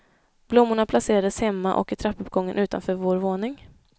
Blommorna placerades hemma och i trappuppgången utanför vår våning.